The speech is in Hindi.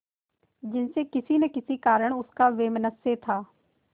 जिनसे किसी न किसी कारण उनका वैमनस्य था